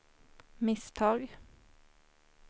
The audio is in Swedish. misstag